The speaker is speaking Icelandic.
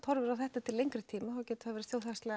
horfir á þetta til lengri tíma þá getur það verið